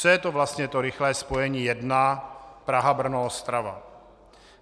Co je to vlastně to rychlé spojení 1 Praha-Brno-Ostrava?